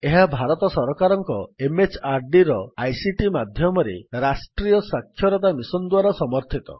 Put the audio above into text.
ଏହା ଭାରତ ସରକାରଙ୍କ MHRDର ଆଇସିଟି ମାଧ୍ୟମରେ ରାଷ୍ଟ୍ରୀୟ ଶିକ୍ଷା ମିଶନ୍ ଦ୍ୱାରା ସମର୍ଥିତ